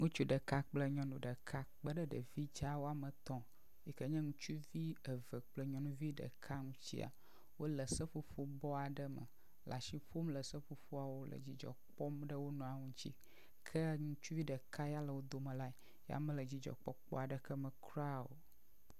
ŋutsu ɖeka kple nyɔŋu ɖeka kpeɖe ɖevi dzaa wɔmetɔ̃ ŋu yike nye ŋutsuvi eve kple nyɔnuvi ɖeka nutsia wóle seƒoƒo bɔ aɖe me la si ƒom seƒoƒoawo le dzidzɔkpɔm ɖe wonɔawo ŋtsi ke ŋutsuvi ɖeka ya le wo dome la ya mele dzidzɔkoɔkpɔ me kura o